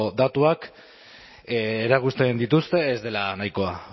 datuak erakusten dituzte ez dela nahikoa